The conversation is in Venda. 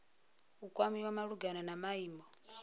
u kwamiwa malugana na maimo